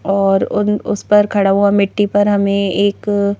और उद उस पर खड़ा हुआ मिट्टी पर हमें एक--